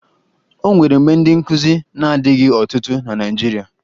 O nwere mgbe ndị nkụzi na-adịghị ọtụtụ na Naịjirịa